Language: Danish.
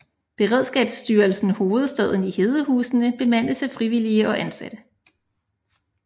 Beredskabsstyrelsen Hovedstaden i Hedehusene bemandes af frivillige og ansatte